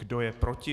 Kdo je proti?